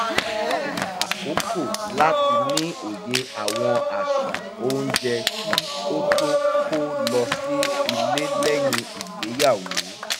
ó lo àkókò láti ní òye àwọn àṣà oúnjẹ kí ó tó kó lọ sí ilé lẹ́yìn ìgbéyàwó